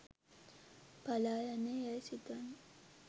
පලායන්නේ යැයි සිතන්න